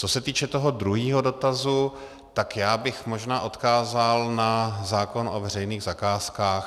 Co se týče toho druhého dotazu, tak já bych možná odkázal na zákon o veřejných zakázkách.